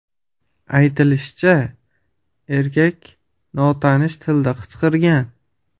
Aytilishicha, erkak notanish tilda qichqirgan.